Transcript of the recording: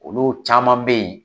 Olu caman bɛ yen